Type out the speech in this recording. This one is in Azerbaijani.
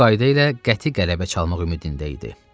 Bu qayda ilə qəti qələbə çalmaq ümidində idi.